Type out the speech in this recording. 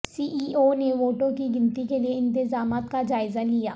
سی E O نے ووٹوں کی گنتی کےلئے انتظامات کا جائزہ لیا